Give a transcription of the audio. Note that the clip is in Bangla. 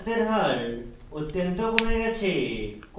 অপরাধের হার অত্যন্ত come গেছে